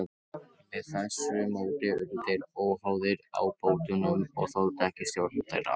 Með þessu móti urðu þeir óháðir ábótunum og þoldu ekki stjórn þeirra.